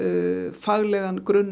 faglegan grunn